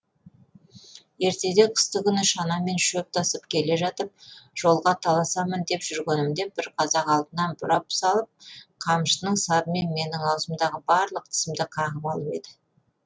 ертеде қыстыкүні шанамен шөп тасып келе жатып жолға таласамын деп жүргенімде бір қазақ алдына бұрап салып қамшының сабымен менің аузымдағы барлық тісімді қағып алып еді